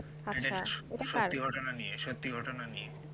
সত্যি ঘটনা নিয়ে সত্যি ঘটনা নিয়ে